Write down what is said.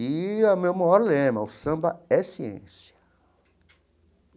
E é o meu maior lema, o samba é ciência.